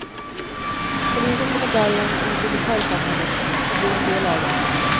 Polisen kommer därigenom ut i lokalsamhället och blir en del av det.